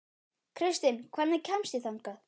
Kristin, hvernig kemst ég þangað?